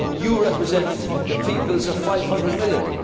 codecision. You represent the peoples of 500